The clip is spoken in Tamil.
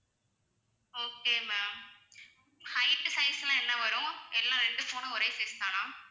okay ma'am height size லாம் என்ன வரும் எல்லாம் ரெண்டு phone ம் ஒரே size தானா?